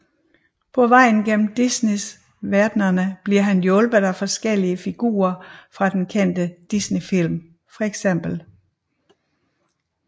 På vejen igennem disney verdenene bliver han hjulpet af forkellige figure fra de kendte disney film feks